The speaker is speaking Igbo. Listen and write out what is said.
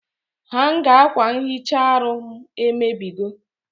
Hanga akwa nhicha aru m emebigo